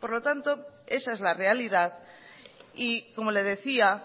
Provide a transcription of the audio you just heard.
por lo tanto esa es la realidad y como le decía